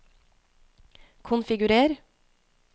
konfigurer